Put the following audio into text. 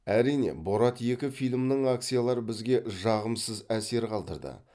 әрине борат екі фильмінің акциялары бізге жағымсыз әсер қалдырды